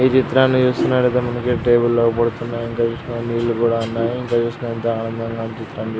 ఈ చిత్రాన్ని చూస్తునట్టయితే మనకి టేబల్ అగుపడుతునాయి ఇంకా నీళ్ళు కూడ ఉన్నాయి ఇంకా చూసినంత అందంగా అనిపితాంది.